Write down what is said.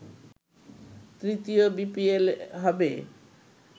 তৃতীয় বিপিএল হবে